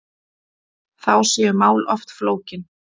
Þá séu mál oft flókin.